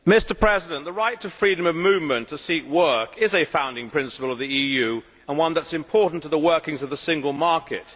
Mr President, the right to freedom of movement to seek work is a founding principle of the EU and one that is important to the workings of the single market.